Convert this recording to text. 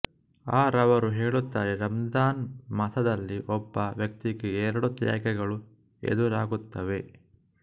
ಅ ರವರು ಹೇಳುತ್ತಾರೆ ರಮಝಾನ್ ಮಾಸದಲ್ಲಿ ಒಬ್ಬ ವ್ಯಕ್ತಿಗೆ ಎರಡು ತ್ಯಾಗಗಳು ಎದುರಾಗುತ್ತವೆ